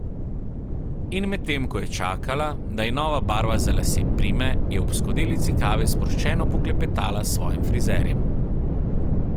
In medtem ko je čakala, da ji nova barva za lase prime, je ob skodelici kave sproščeno poklepetala s svojim frizerjem.